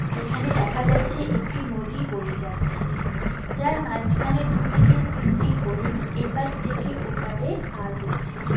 যেখানে দেখা যাচ্ছে একটি নদী বয়ে যাচ্ছে যার মাঝখানে দু থেকে তিনটি হরিণ এপার থেকে ওপারে পার হচ্ছে।